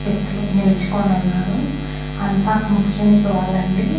వ్యక్తులు నిల్చుకోనున్నానురు అంతా ముస్లిమ్స్ వాళ్లండి.